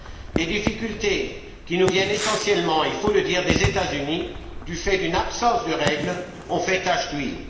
Les difficultés qui nous viennent essentiellement, il faut le dire, des États Unis, du fait d'une absence de règles, ont fait tache d'huile.